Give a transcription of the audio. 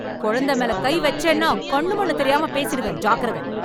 கொழந்த மேல கை வெச்சேனா கண்ணுமண்ணு தெரியாம பேசிடுவேன். ஜாக்கிரத!